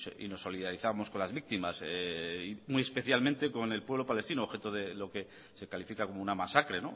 y nos solidarizamos con las víctimas muy especialmente con el pueblo palestino objeto de lo que se califica como una masacre